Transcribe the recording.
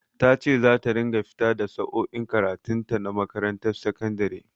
Ta ce za ta ringa fita da sa'o'in karatun ta na makarantar sakandare.